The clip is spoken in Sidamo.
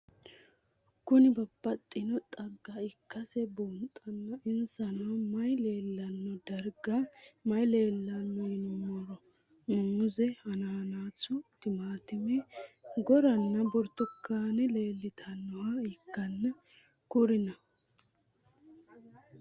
Kuni babaxino xaga ikase bunxana insano mayi leelanno darga mayi leelanno yinumaro muuze hanannisu timantime gooranna buurtukaane leelitoneha ikanna kurino?